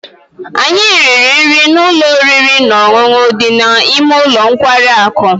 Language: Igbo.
anyị riri nri na ụlọ oriri na ọṅụṅụ dị n'ime ụlọ nkwari akụ